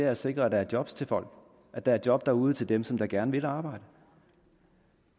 at sikre at der er job til folk at der er job derude til dem som gerne vil arbejde